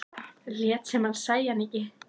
Lét sem hann sæi hana ekki.